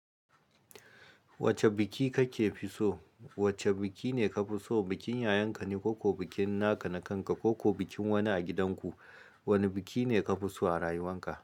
Wacce biki kake fi so? Wacce biki ne ka fi so, bikin yayanka ne ko ko bikin naka na kanka, ko ko bikin wani a gidan ku? Wane biki ne ka fi so a rayuwarka?